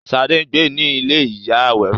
Ṣadé ń gbé ní ilé ìyá Àwẹró.